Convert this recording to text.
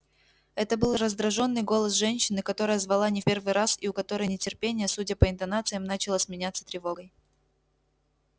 это был раздражённый голос женщины которая звала не в первый раз и у которой нетерпение судя по интонациям начало сменяться тревогой